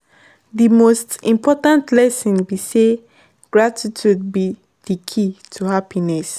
di most important lesson be say gratitude be di key to happiness.